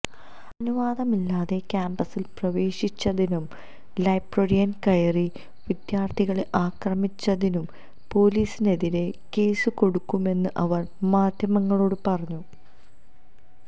അനുവാദമില്ലാതെ ക്യാംപസിൽ പ്രവേശിച്ചതിനും ലൈബ്രറിയിൽ കയറി വിദ്യാർഥികളെ ആക്രമിച്ചതിനും പൊലീസിനെതിരെ കേസു കൊടുക്കുമെന്ന് അവർ മാധ്യമങ്ങളോട് പറഞ്ഞു